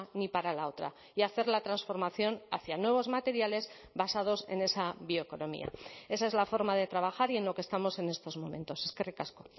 ni para la otra y hacer la transformación hacia nuevos materiales basados en esa bioeconomía esa es la forma de trabajar y en lo que estamos en estos momentos eskerrik asko